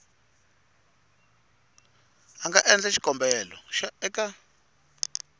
a nga endla xikombelo eka